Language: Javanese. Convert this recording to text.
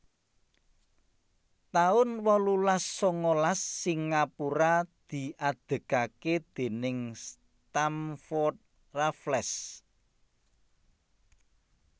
taun wolulas sangalas Singapura diadegaké déning Stamford Raffles